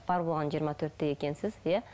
бар болғаны жиырма төртте екенсіз иә